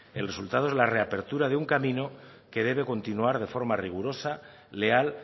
el resultado es la reapertura de un camino que debe continuar de forma rigurosa leal